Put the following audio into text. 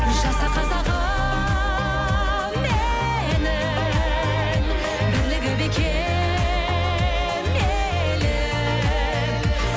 жаса қазағым менің бірлігі бекем елім